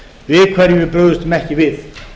við hverju við brugðumst ekki við